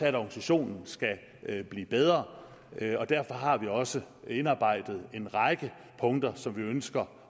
at organisationen skal blive bedre derfor har vi også indarbejdet en række punkter som vi ønsker